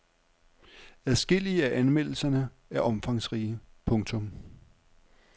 Adskillige af anmeldelserne er omfangsrige. punktum